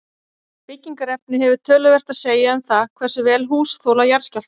Byggingarefni hefur töluvert að segja um það hversu vel hús þola jarðskjálfta.